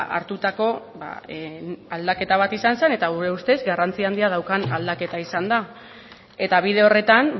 hartutako aldaketa bat izan zen eta gure ustez garrantzi handia daukan aldaketa izan da eta bide horretan